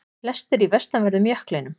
Flestir í vestanverðum jöklinum